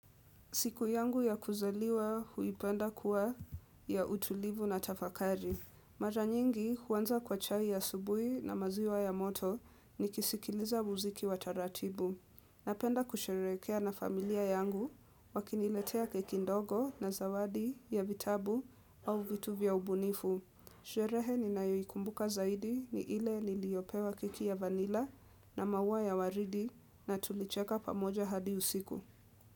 Siku yangu ya kuzaliwa huipenda kuwa ya utulivu na tafakari. Mara nyingi huwanza kwa chai asubui na maziwa ya moto ni kisikiliza muziki wa taratibu. Napenda kusherekea na familia yangu wakiniletea keki ndogo na zawadi ya vitabu au vitu vya ubunifu. Sherehe ni nayoikumbuka zaidi ni ile niliopewa keki ya vanila na maua ya waridi na tulicheka pamoja hadi usiku.